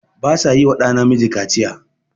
Ba sa yi wa ɗa Namiji Kaciya.